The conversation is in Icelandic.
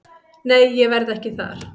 Nei ég verð ekki þar.